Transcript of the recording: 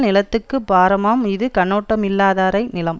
நிலத்துக்கு பாரமாம் இது கண்ணோட்டமில்லாதாரை நிலம்